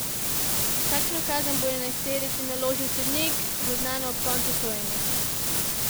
Kakšno kazen bo enajsterici naložil sodnik, bo znano ob koncu sojenja.